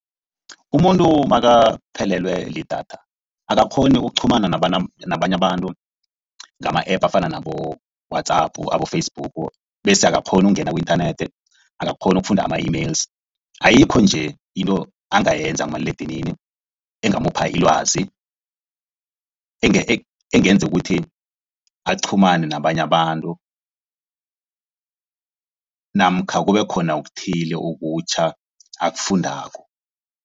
Umuntu makaphelelwe lidatha akakghoni ukuqhumana nabanye abantu ngama-App afana nabo-WhatsApp abo-Facebook bese akakghoni ukungena ku-inthanethi. Akakghoni ukufunda ama-emails, ayikho nje into angayenza kumaliledinini engamupha ilwazi. Engenza ukuthi aqhumane nabanye abantu namkha kubekhona okuthile okutjha akufundako.